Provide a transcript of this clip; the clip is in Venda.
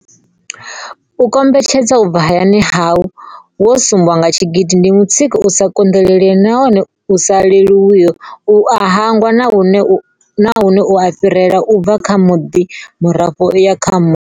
U kombetshedzwa u bva hayani hau wo sumbwa nga tshigidi ndi mutsiko u sa konḓelelei nahone u sa leluwiho u u hangwa nahone u a fhirela u bva kha muḓwe murafho u ya kha muḓwe.